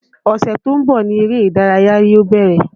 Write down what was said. Ọ̀sẹ̀ tó ń bọ̀ ni eré ìdárayá yóò bẹ̀rẹ̀